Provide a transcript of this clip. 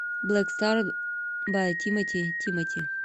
блэк стар бай тимати тимати